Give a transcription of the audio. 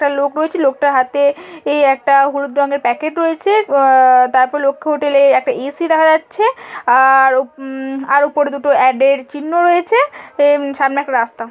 একটা লোক রয়েছে। লোকটা হাতে এই একটা হলুদ রঙের প্যাকেট রয়েছে। আ-আ -আ তারপর লক্ষী হোটেল - এর একটা এ.সি. দেখা যাচ্ছে। আর উম্ আর ওপরে দুটো অ্যাড -এর চিহ্ন রয়েছে। উম সামনে এক রাস্তা।